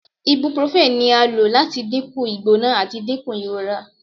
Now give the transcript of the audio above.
Ibuprofen ni a lo lati dinku igbona ati dinku irora